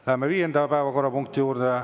Läheme viienda päevakorrapunkti juurde.